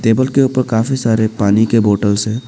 table के ऊपर काफी सारे पानी के बोतल से--